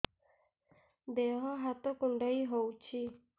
ଦେହ ହାତ କୁଣ୍ଡାଇ ହଉଛି